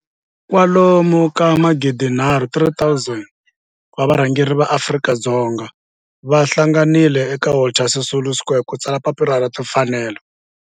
kwalomu ka magidi nharhu, 3 000 wa varhangeri va maAfrika-Dzonga va hlanganile eka Walter Sisulu Square ku ta tsala Papila ra Tinfanelo.